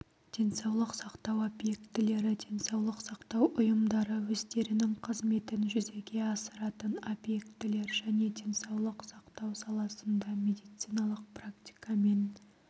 денсаулық сақтау объектілері денсаулық сақтау ұйымдары өздерінің қызметін жүзеге асыратын объектілер және денсаулық сақтау саласында медициналық практикамен